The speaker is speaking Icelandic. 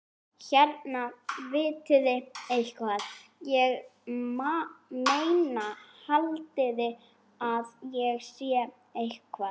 Hérna, vitiði eitthvað. ég meina, haldiði að það sé eitthvað.